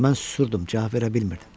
Mən susurdum, cavab verə bilmirdim.